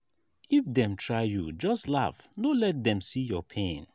if dem try you just laugh no let dem see your pain.